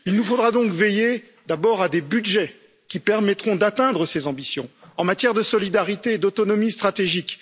Il nous faudra donc veiller d'abord à des budgets qui permettront d'atteindre ces ambitions en matière de solidarité et d'autonomie stratégique.